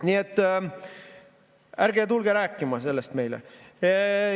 Nii et ärge tulge sellest meile rääkima.